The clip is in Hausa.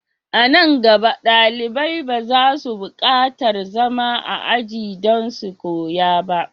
A nan gaba, dalibai ba za su bukatar zama a ajiya don su koya ba.